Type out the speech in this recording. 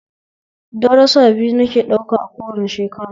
Darusa biyu nike ɗauka a kowane shekara